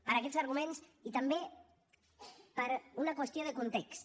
per aquests arguments i també per una qüestió de context